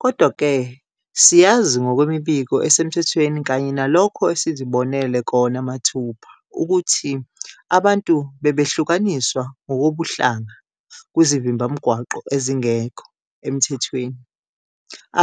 Kodwa-ke siyazi ngokwemibiko esemthethweni kanye nalokho esizibonele kona mathupha ukuthi abantu bebehlukaniswa ngokobuhlanga kwizivimbamgwaqo ezingekho emthethweni,